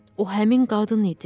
O həmin qadın idi.